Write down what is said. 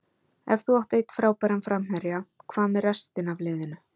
Ef þú átt einn frábæran framherja, hvað með restina af liðinu?